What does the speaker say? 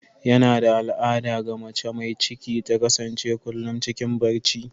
Yana da al'ada ga mace mai ciki ta kasance kullum cikin barci.